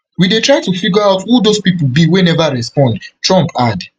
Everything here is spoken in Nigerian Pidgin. we dey try to figure out who those pipo be wey neva respond trump add